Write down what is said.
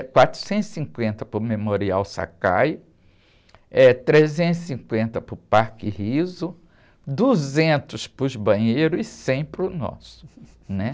quatrocentos e cinquenta para o Memorial Sakai, eh, trezentos e cinquenta para o Parque Rizzo, duzentos para os banheiros e cem para o nosso, né?